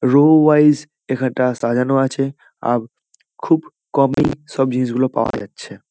Rho wise এখানটা সাজানো আছে আ খুব কমেই সব জিনিসগুলো পাওয়া যাচ্ছে।